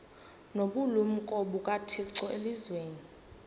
nobulumko bukathixo elizwini